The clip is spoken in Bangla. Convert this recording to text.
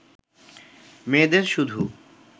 মেয়েদের শুধু